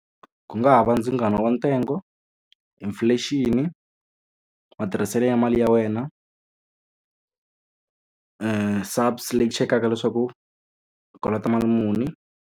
Ku nga ha va ndzingano wa ntsengo, inflation-i, matirhiselo ya mali ya wena, leyi chekaka leswaku u kolota mali muni.